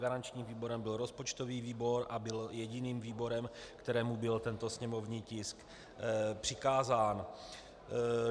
Garančním výborem byl rozpočtový výbor a byl jediným výborem, kterému byl tento sněmovní tisk přikázán.